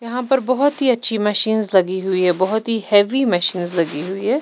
यहां पर बहुत ही अच्छी मशीनस लगी हुई हैं बहुत ही हैवी मशीनस लगी हुई हैं।